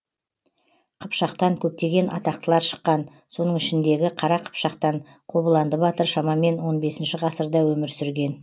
қыпшақтан көптеген атақтылар шыққан соның ішіндегі қара қыпшақтан қобыланды батыр шамамен он бесінші ғасырда өмір сүрген